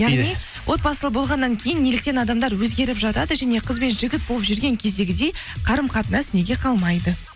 яғни отбасылы болғаннан кейін неліктен адамдар өзгеріп жатады және қыз бен жігіт болып жүрген кездегідей қарым қатынас неге қалмайды